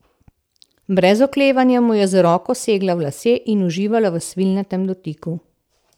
Brez oklevanja mu je z roko segla v lase in uživala v svilnatem dotiku.